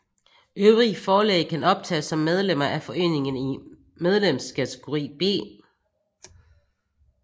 Øvrige forlag kan optages som medlemmer af foreningen i medlemskategori B